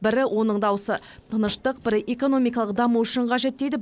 бірі оның даусы тыныштық бірі экономикалық даму үшін қажет дейді